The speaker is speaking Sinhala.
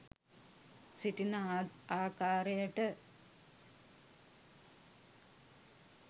සිටින ආකාරයට